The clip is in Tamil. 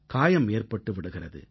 காயம் ஏற்பட்டு விடுகிறது